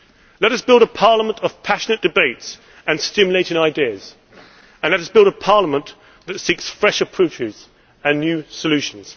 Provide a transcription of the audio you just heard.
Let us build a parliament of passionate debates and stimulating ideas, and let us build a parliament that seeks fresh approaches and new solutions.